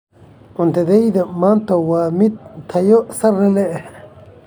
Cuntadayada maanta waa mid tayo sare leh.